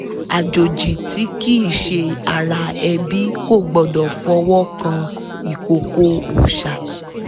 àjòjì tí kìí ṣe ara ẹbí kò gbọdọ̀ fọwọ́ kan ìkòkò òòṣà